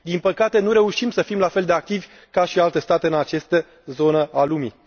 Din păcate, nu reușim să fim la fel de activi ca și alte state în această zonă a lumii.